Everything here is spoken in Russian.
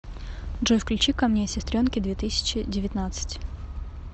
джой включи ка мне сестренки две тысячи девятнадцать